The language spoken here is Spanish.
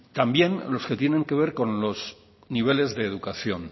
también los que tienen que ver con los niveles de educación